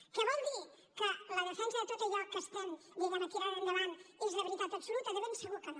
que vol dir que la defensa de tot allò que estem diguem ne tirant endavant és de veritat absoluta de ben segur que no